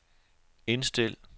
indstil